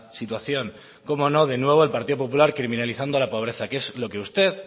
situación cómo no de nuevo el partido popular criminalizando a la pobreza que es lo que usted